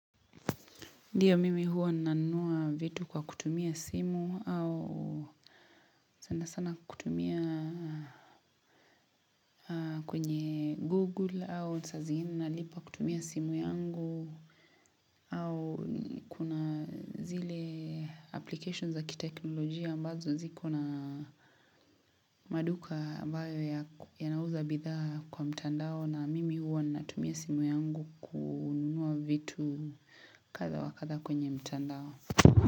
Ndiyo mimi huwa nanua vitu kwa kutumia simu au sana sana kutumia kwenye google au saa zingine nalipa kutumia simu yangu au kuna zile applications za ki teknolojia ambazo ziko na maduka bayo ya nauza bidhaa kwa mtandao na mimi huwa natumia simu yangu kunua vitu kadaa wa kadha kwenye mtandao.